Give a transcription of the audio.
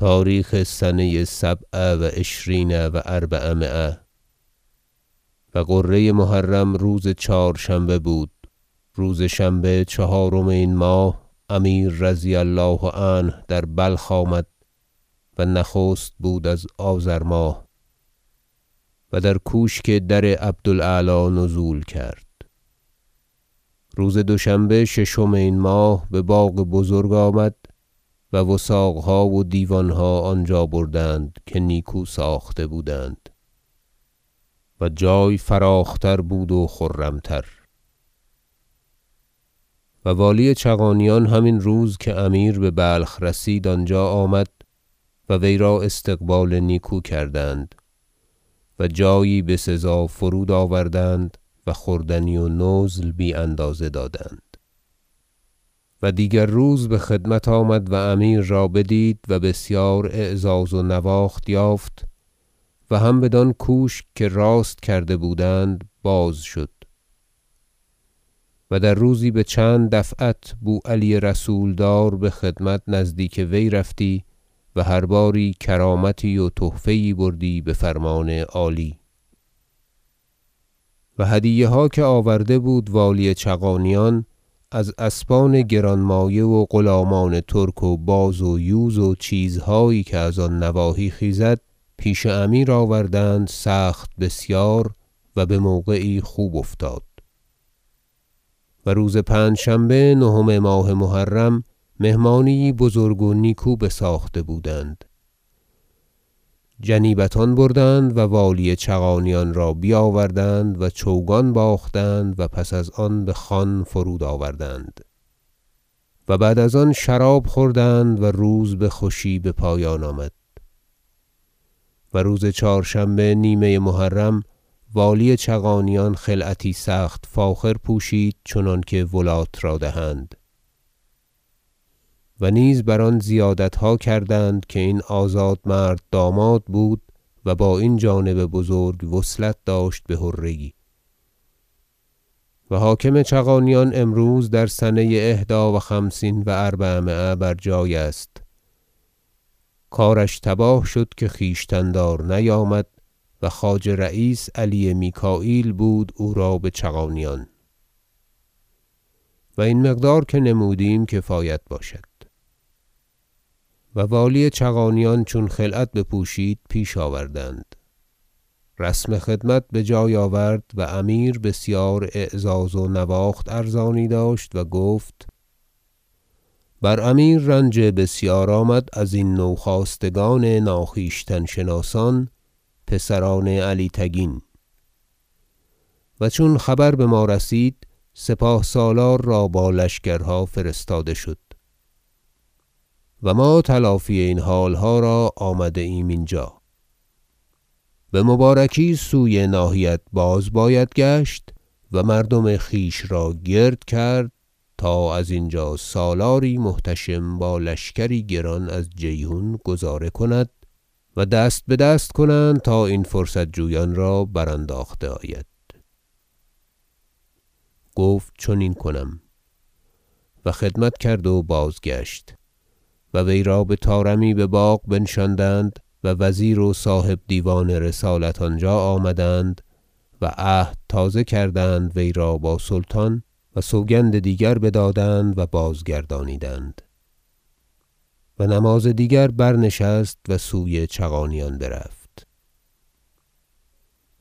تاریخ سنه سبع و عشرین و اربعمایه و غره محرم روز چهارشنبه بود روز شنبه چهارم این ماه امیر رضی الله عنه در بلخ آمد و نخست بود از آذرماه و در کوشک در عبد الاعلی نزول کرد روز دوشنبه ششم این ماه بباغ بزرگ آمد و وثاقها و دیوانها آنجا بردند که نیکو ساخته بودند و جای فراخ بود و خرم تر و والی چغانیان همین روز که امیر ببلخ رسید آنجا آمد و وی را استقبال نیکو کردند و جایی بسزا فرود آوردند و خوردنی و نزل بی اندازه دادند و دیگر روز بخدمت آمد و امیر را بدید و بسیار اعزاز و نواخت یافت و هم بدان کوشک که راست کرده بودند بازشد و در روزی بچند دفعت بوعلی رسولدار بخدمت نزدیک وی رفتی و هر باری کرامتی و تحفه یی بردی بفرمان عالی و هدیه ها که آورده بود والی چغانیان از اسبان گران مایه و غلامان ترک و باز و یوز و چیزهایی که از آن نواحی خیزد پیش امیر آوردند سخت بسیار و بموقعی خوب افتاد و روز پنجشنبه نهم ماه محرم مهمانی یی بزرگ و نیکو بساخته بودند جنیبتان بردند و والی چغانیان را بیاوردند و چوگان باختند و پس از آن بخوان فرود آوردند و بعد از آن شراب خوردند و روز بخوشی بپایان آمد و روز چهارشنبه نیمه محرم والی چغانیان خلعتی سخت فاخر پوشید چنانکه ولاة را دهند و نیز بر آن زیادتها کردند که این آزاد مرد داماد بود و با این جانب بزرگ وصلت داشت بحره یی - و حاکم چغانیان امروز در سنه احدی و خمسین و اربعمایه بر جای است کارش تباه شده که خویشتن دار نیامد و خواجه رییس علی میکاییل بود او را بچغانیان و این مقدار که نمودیم کفایت باشد- و والی چغانیان چون خلعت بپوشید پیش آوردند رسم خدمت بجای آورد و امیر بسیار اعزاز و نواخت ارزانی داشت و گفت بر امیر رنج بسیار آمد ازین نوخاستگان ناخویشتن شناسان پسران علی تگین و چون خبر بما رسید سپاه سالار را با لشکرها فرستاده شد و ما تلافی این حالها را آمده ایم اینجا بمبارکی سوی ناحیت باز باید گشت و مردم خویش را گرد کرد تا از اینجا سالاری محتشم با لشکر گران از جیحون گذاره کند و دست بدست کنند تا این فرصت جویان را برانداخته آید گفت چنین کنم و خدمت کرد و بازگشت و وی را بطارمی بباغ بنشاندند و وزیر و صاحب دیوان رسالت آنجا آمدند و عهد تازه کردند وی را با سلطان و سوگند دیگر بدادند و بازگردانیدند و نماز دیگر برنشست و سوی چغانیان برفت